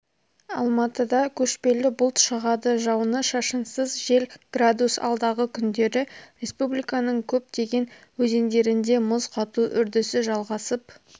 алматыда көшпелі бұлт шығады жауны-шашынсыз жел градус алдағы күндері республиканың көптеген өзендерінде мұз қату үрдісі жалғасып